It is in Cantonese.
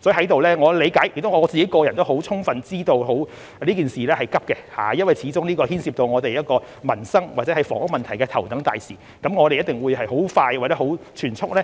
所以，我理解亦充分知道這事情是急的，因為這始終是牽涉民生或房屋問題的頭等大事，我們一定會盡快及全速地